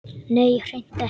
Nei, hreint ekki.